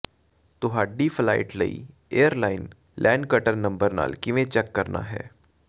ਤੁਹਾਡੀ ਫਲਾਈਟ ਲਈ airline ਲੈਨਕਟਰ ਨੰਬਰ ਨਾਲ ਕਿਵੇਂ ਚੈੱਕ ਕਰਨਾ ਹੈ